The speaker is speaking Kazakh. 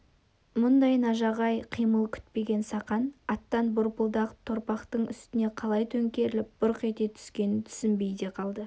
мұндай нажағай қимыл күтпеген сақан аттан борпылдақ топырақтың үстіне қалай төңкеріліп бұрқ ете түскенін түсінбей де қалды